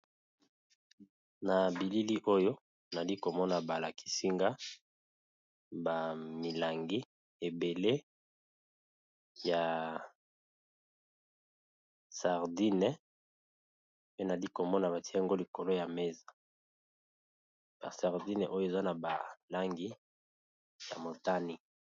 Na bilili oyo nali komona balakisinga ba kopo ya manzanza ebele ya sardine, pe nali komona batie yango likolo ya mesa bazotekisa eza na Langi ya motane, n'a se bazotekisa PE ba maki.